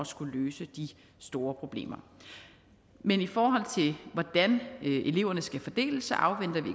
skulle løse de store problemer men i forhold til hvordan eleverne skal fordeles afventer vi